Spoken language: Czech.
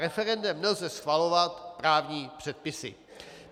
Referendem nelze schvalovat právní předpisy.